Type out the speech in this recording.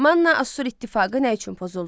Manna Assur İttifaqı nə üçün pozuldu?